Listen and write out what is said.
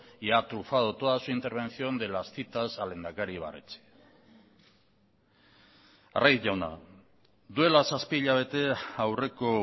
y ha trufado toda su intervención de las citas al lehendakari ibarretxe arraiz jauna duela zazpi hilabete aurreko